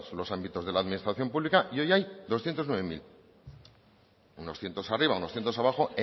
los ámbitos de la administración pública y hoy hay doscientos nueve mil unos cientos arriba unos cientos abajo